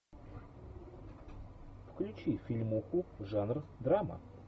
включи фильмуху жанр драма